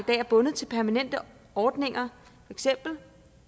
er bundet til permanente ordninger